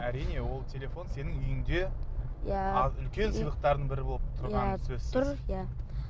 әрине ол телефон сенің үйіңде иә үлкен сыйлықтардың бірі болып тұрғаны сөзсіз тұр иә